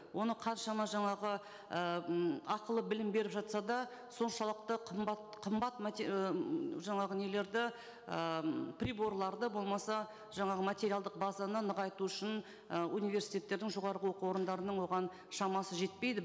оны қаншама жаңағы і м ақылы білім беріп жатса да соншалықты қымбат қымбат ііі м жаңағы нелерді ыыы приборларды болмаса жаңағы материалдық базаны нығайту үшін ы университеттердің жоғарғы оқу орындарының оған шамасы жетпейді